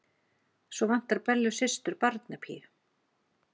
Svo vantar Bellu systur barnapíu.